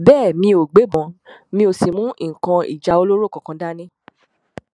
bẹẹ mi ò gbébọn mi ó sì mú nǹkan ìjà olóró kankan dání